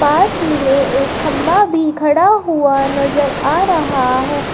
पास ही में एक खंबा भी खड़ा हुआ नजर आ रहा है।